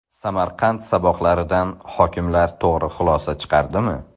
Samarqand saboqlaridan hokimlar to‘g‘ri xulosa chiqardimi?.